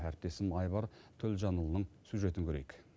әріптесім айбар төлжанұлының сюжетін көрейік